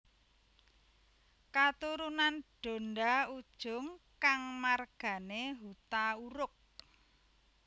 Katurunan Donda Ujung kang margané Hutauruk